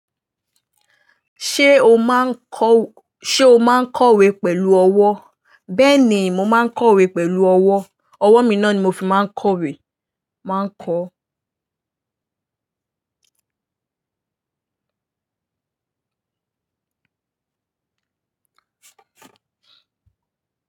Ṣé o máa ń kọ--Ṣé o máa ń kọ̀wé pẹ̀lú ọwọ́? Bẹ́ẹ̀ni, mo máa ń kọ̀wé pẹ̀lú ọwọ́. Ọwọ́ mi náà ni mo fi máa ń kọ̀wé, n máa ń kọo.